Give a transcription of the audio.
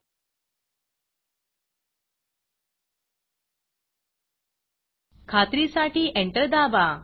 demo application खात्रीसाठी enter दाबा